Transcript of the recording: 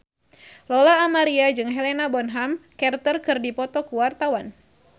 Lola Amaria jeung Helena Bonham Carter keur dipoto ku wartawan